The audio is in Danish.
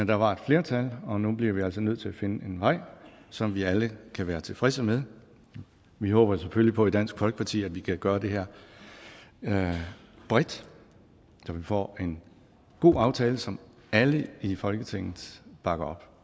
der var et flertal og nu bliver vi altså nødt til at finde en regel som vi alle kan være tilfredse med vi håber selvfølgelig på i dansk folkeparti at vi kan gøre det her bredt så vi får en god aftale som alle i folketinget bakker